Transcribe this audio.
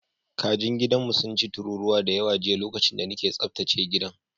Kajin gidanmu sun ci tururuwa da yawa jiya lokacin da nake tsaftace gidan.